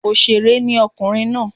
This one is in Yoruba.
Òsèré ni ọkùnrin náà